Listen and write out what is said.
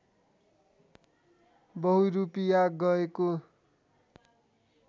बहुरूपिया गएको